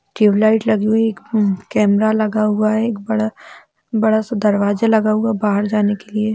tube light लगी हुई एक अहं केमरा लगा हुआ है एक बड़ा बड़ा सा दरवाजा लगा हुआ है बहार जाने के लिए--